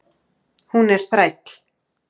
Hún er þræll.